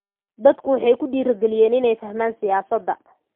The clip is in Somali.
Dadku waxay ku dhiirigeliyeen inay fahmaan siyaasadda.